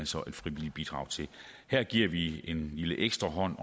så et frivilligt bidrag til her giver vi en lille ekstra hånd